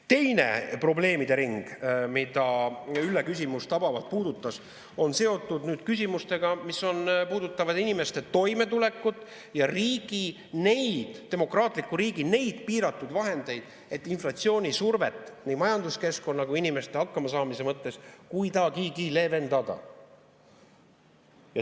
Teine probleemide ring, mida Ülle küsimus tabavalt puudutas, on seotud küsimustega, mis puudutavad inimeste toimetulekut ja neid demokraatliku riigi piiratud vahendeid, et inflatsioonisurvet nii majanduskeskkonna kui ka inimeste hakkamasaamise mõttes kuidagigi leevendada.